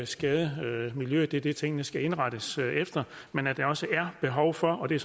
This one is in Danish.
skade miljøet det er det tingene skal indrettes efter men at der også er behov for og det